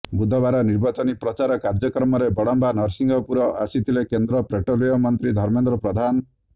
ବୁଧବାର ନିର୍ବାଚନୀ ପ୍ରଚାର କାର୍ଯ୍ୟକ୍ରମରେ ବଡ଼ମ୍ବା ନରସିଂହପୁର ଆସିଥିଲେ କେନ୍ଦ୍ର ପେଟ୍ରୋଲିୟମ ମନ୍ତ୍ରୀ ଧର୍ମେନ୍ଦ୍ର ପ୍ରଧାନ